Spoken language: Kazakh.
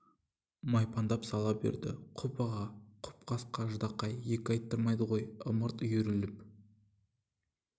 майпаңдап сала берді құп аға құп қасқа ждақай екі айттырмайды ғой ымырт үйіріліп